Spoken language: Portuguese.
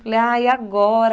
Falei ah, e agora?.